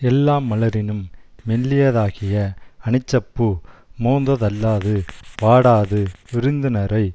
எல்லா மலரினும் மெல்லியதாகிய அனிச்சப்பூ மொந்த தள்ளாது வாடாது விருந்தினரை